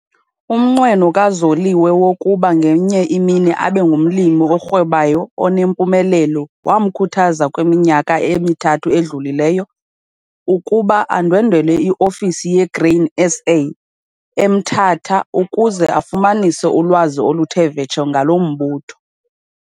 Umnqweno kaZoliwe wokuba ngenye imini abe ngumlimi orhwebayo onempumelelo wamkhuthaza kwiminyaka emithathu edlulileyo, ukuba andwendwele iofisi yeGrain SA eseMthatha ukuze afumanise ulwazi oluthe vetshe ngalo mbutho.